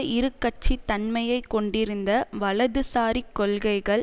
இருகட்சித் தன்மையை கொண்டிருந்த வலதுசாரிக் கொள்கைகள்